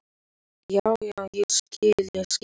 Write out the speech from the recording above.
Þetta er ekki algilt en á sér stað ótrúlega víða.